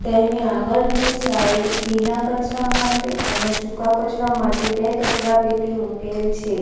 તેની આગળની સાઇડ ભીના કચરા માટે અને સૂકા કચરા માટે બે કચરાપેટી મૂકેલ છે.